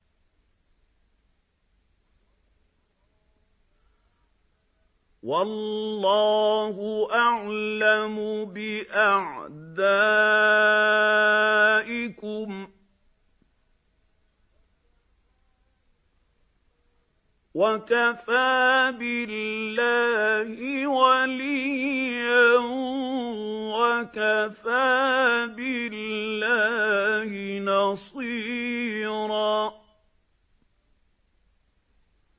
وَاللَّهُ أَعْلَمُ بِأَعْدَائِكُمْ ۚ وَكَفَىٰ بِاللَّهِ وَلِيًّا وَكَفَىٰ بِاللَّهِ نَصِيرًا